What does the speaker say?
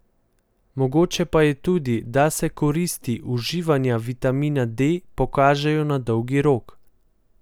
Mogoče pa je tudi, da se koristi uživanja vitamina D pokažejo na dolgi rok.